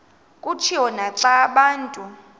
kutshiwo naxa abantu